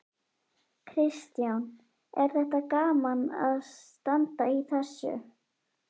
Kristján: Er þetta gaman að standa í þessu?